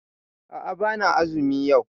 A'a bana azumi yau